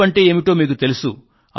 app అంటే ఏమిటో మీకు తెలుసు